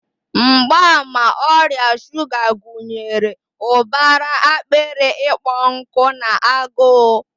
Mgbaàmà ọrịa shuga gụnyere ụbara akpịrị ịkpọ nkụ na agụụ.